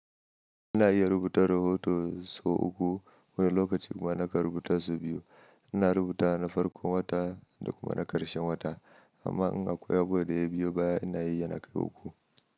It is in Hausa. Ina iya rubuta rohoto sau uku wani lokacin kuma nakan ruɓuta sau biyu. Ina rubuta na farkon wata da kuma na ƙarshen wata, amma in akwai abubuwa da ya biyo baya ina yi yana kai uku.